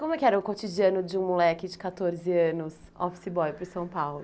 E como é que era o cotidiano de um moleque de quatorze anos, office boy, por São Paulo?